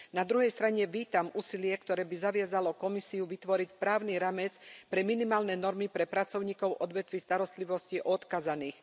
Na druhej strane vítam úsilie, ktoré by zaviazalo Komisiu vytvoriť právny rámec pre minimálne normy pre pracovníkov v odvetví starostlivosti o odkázaných.